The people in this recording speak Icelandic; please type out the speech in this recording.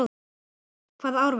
Hvaða ár var það?